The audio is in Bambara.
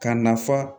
Ka nafa